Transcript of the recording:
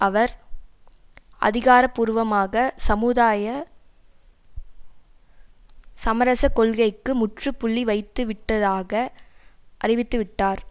அவர் அதிகாரபூர்வமாக சமுதாய சமரசக் கொள்கைக்கு முற்றுப்புள்ளி வைத்துவிட்டதாக அறிவித்துவிட்டார்